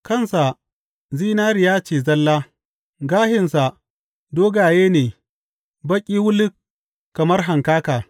Kansa zinariya ce zalla; gashinsa dogaye ne baƙi wuluk kamar hankaka.